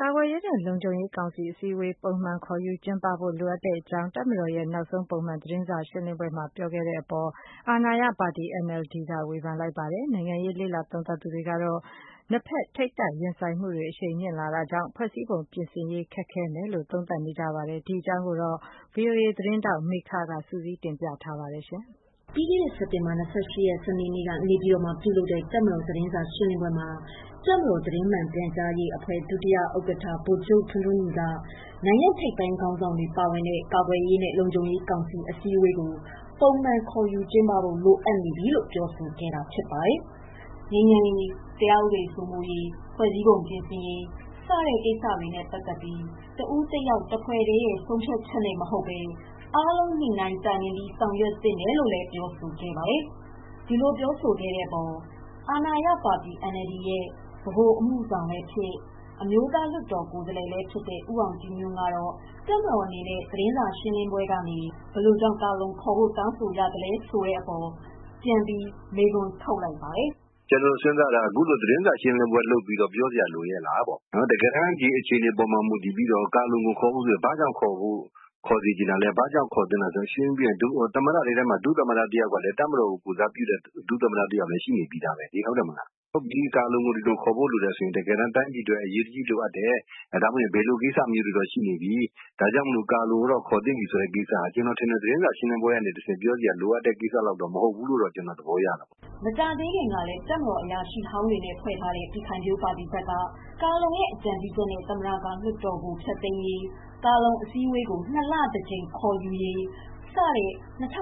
ကာကွယ်ရေးနဲ့ လုံခြုံရေးကောင်စီ အစည်းအဝေး ပုံမှန် ခေါ်ယူကျင်းပဖို့ လိုအပ်တယ်လို့ တပ်မတော်က နောက်ဆုံး ပြုလုပ်ခဲ့တဲ့ ပုံမှန် သတင်းစာရှင်းလင်းပွဲအတွင်း ပြောဆိုလိုက်တဲ့အပေါ် အာဏာရပါတီ NLD က ဝေဖန်လိုက်ပါတယ်။ နိုင်ငံရေးလေ့လာသုံးသပ်သူတွေကတော့ နှစ်ဘက် ထိပ်တိုက် ရင်ဆိုင်မှုတွေ အရှိန်မြင့်လာတာကြောင့် ဖွဲ့စည်းပုံပြင်ဆင်ရေး ခက်ခဲမယ်လို့ သုံးသပ်နေကြပါတယ်။ ဒီအကြောင်း ဗွီအိုအေသတင်းထောက် မေခက စုစည်းတင်ပြထားပါတယ်။ စက်တင်ဘာ ၂၈ ရက်၊ စနေနေ့က နေပြည်တော်မှာ ပြုလုပ်တဲ့ တပ်မတော် သတင်းစာ ရှင်းလင်းပွဲ မှာ တပ်မတော် သတင်းမှန်ပြန်ကြားရေးအဖွဲ့ ဒုတိယ ဥက္ကဋ္ဌ ဗိုလ်ချုပ် ထွန်းထွန်းညီ က နိုင်ငံ့ထိပ်ပိုင်း ခေါင်းဆောင်တွေပါဝင်တဲ့ ကာကွယ်ရေးနဲ့ လုံခြုံရေးကောင်စီ အစည်းအဝေးကို ပုံမှန် ခေါ်ယူ ကျင်းပဖို့ လိုအပ်နေပြီလို့ ပြောဆိုခဲ့ပါတယ်။ ငြိမ်းချမ်းရေး ၊ တရားဥပဒေစိုးမိုးရေး၊ ဖွဲ့စည်းပုံပြင်ဆင်ရေး စတဲ့ ကိစ္စတွေနဲ့ ပတ်သက်ပြီး တစ်ဦးတစ်ယောက်တစ်ဖွဲ့တည်းရဲ့ ဆုံးဖြတ်ချက်နဲ့ မဟုတ်ဘဲ အားလုံး ညှိနှိုင်းတိုင်ပင်ပြီး ဆောင်ရွက်သင့်တယ်လို့ ပြောဆိုခဲ့တာပါ။ ဒီလိုပြောဆိုလိုက်တဲ့ အပေါ် အာဏာရပါတီ NLDရဲ့ ဗဟိုအမှုဆောင်လဲဖြစ်၊ အမျိုးသား လွှတ်တော် ကိုယ်စားလှယ်လည်း ဖြစ်တဲ့ ဦးအောင်ကြည်ညွှန့်ကတော့ တပ်မတော်အနေနဲ့ သတင်းစာ ရှင်းလင်းပွဲကနေ ဘာကြောင့် ကာလုံခေါ်ဖို့ တောင်းဆိုရသလဲဆိုတဲ့အပေါ် မေးခွန်းထုတ် လိုက်ပါတယ်။ “ကျနော်စဉ်းစားတာက အခုလိုသတင်းစာရှင်းလင်းပွဲလုပ်ပြီး ပြောစရာလိုရဲ့လားပေါ့ ။ တကယ်တမ်း ဒီအခြေအနေမှာ မူတည်ပြီးတော့ ကာလုံခေါ်ဖို့ဆိုတာက ဘာကြောင့်ခေါ်စေချင်တာလဲ ဘာကြောင့်ခေါ်သင့်သလဲ ရှင်းလင်းပြီးတော့ သမ္မတတွေထဲမှာ ဒုတိယ သမ္မတက တပ်မတော်ကို ကိုယ်စားပြုတာလည်းရှိနေတာပဲလေ ဟုတ်တယ်မလား ကာလုံကို ခေါ်ဖို့လိုတယ်ဆိုရင် တိုင်းပြည်အတွက် အရေးတကြီးလိုအပ်တယ်။ ဒါမှမဟုတ်ရင်လည်း ဘယ်လိုကိစ္စမျိုးတွေလည်း ရှိနေပြီ ဒါကြောင့်မလို့ ကာလုံကို ခေါ်သင့်ပြီဆိုတဲ့ကိစ္စက ကျနော်ထင်တယ် ၊ သတင်းစာရှင်းလင်းပွဲကနေတဆင့် ပြောရအောင် လိုအပ်တဲ့ကိစ္စမဟုတ်ဘူးလို့ ကျနော်သဘောရတယ်။” မကြာသေးခင်ကလည်း တပ်မတော် အရာရှိ ဟောင်းတွေနဲ့ ဖွဲ့ထားတဲ့ ပြည်ခိုင်ဖြိုးပါတီ ဘက်က ကာ/လုံရဲ့ အကြံပြုချက်နဲ့ သမ္မတက လွှတ်တော်ကို ဖျက်သိမ်းရေး၊ ကာ/လုံ အစည်းအဝေးကို ၂ လတကြိမ် ခေါ်ယူခွင့်တို့ ပါဝင်တဲ့ ၂